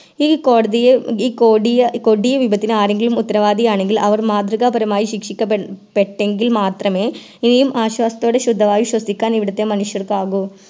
ഈ കോടതിയെ ഈ കൊടിയ കൊടിയ വിപത്തിന് ആരെങ്കിലും ഉത്തരവാദിയാണെങ്കിൽ അവർ മാതൃകാപരമായി ശിക്ഷിക്കാപെ പ്പെട്ടെങ്കിൽ മാത്രമേ ഇനിയും ആശ്വാസത്തോടെ ശുദ്ധവായു ശ്വസിക്കാൻ ഇവിടുത്തെ മനുഷ്യർക്ക് ആകു